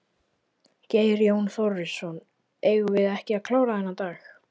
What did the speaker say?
Geir Jón Þórisson: Eigum við ekki að klára þennan dag?